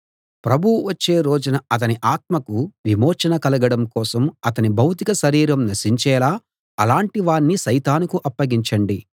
ప్రభువు వచ్చే రోజున అతని ఆత్మకు విమోచన కలగడం కోసం అతని భౌతిక శరీరం నశించేలా అలాటి వాణ్ణి సైతానుకు అప్పగించండి